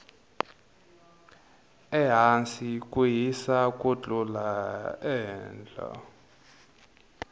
ehasi ku hisa ku tlula ehehla